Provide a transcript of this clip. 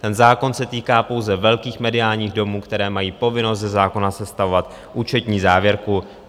Ten zákon se týká pouze velkých mediálních domů, které mají povinnost ze zákona sestavovat účetní závěrku.